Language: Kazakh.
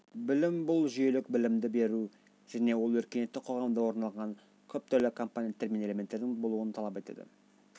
білім бұл жүйелік білімді беру жəне ол өркениетті қоғамда орын алған көп түрлі компоненттер мен элементтердің болуын талап етеді